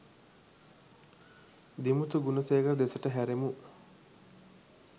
දිමුතු ගුණසේකර දෙසට හැරෙමු.